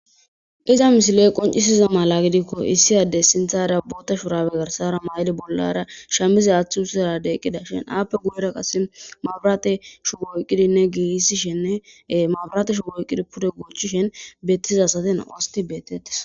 Iza misile qoncisiza mala gidikko issi addey sintara bootta shurabe garsa mayidi bollara shaamize mayidi eqqidashin aappe guyera qasse maburashubo oykidinne giigissishe maburate shubo pude goochchishe beettishe nam7u asati beetettees.